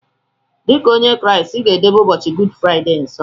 Dika onye kraist iga edobe ụbọchi gud friday nsọ!!